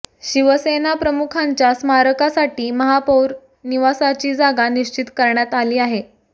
शिवसेनाप्रमुखांच्या स्मारकासाठी महापौर निवासाची जागा निश्चित करण्यात आली आहे